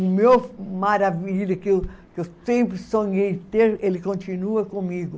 O meu maravilha, que eu sempre sonhei ter, ele continua comigo.